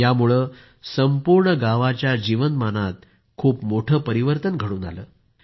यामुळे संपूर्ण गावाच्या जीवनमानातच खूप मोठे परिवर्तन घडून आले आहे